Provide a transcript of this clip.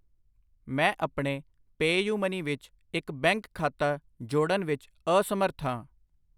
ਮੈਂ ਆਪਣੇ ਪੈਯੁਮਨੀ ਵਿੱਚ ਇੱਕ ਬੈਂਕ ਖਾਤਾ ਜੋੜਨ ਵਿੱਚ ਅਸਮਰੱਥ ਹਾਂ।